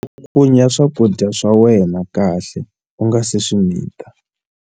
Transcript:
Cakunya swakudya swa wena kahle u nga si swi mita.